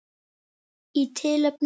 Í tilefni